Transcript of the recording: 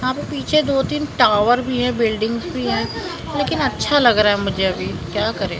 यहा पे पीछे दोतीन टावर भी हैं बिल्डिंग्स भी हैं लेकिन अच्छा लग रा है मुझे अभी क्या करें ।